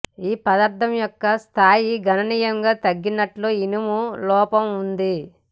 ఈ పదార్థం యొక్క స్థాయి గణనీయంగా తగ్గినట్లు ఇనుము లోపం ఉంది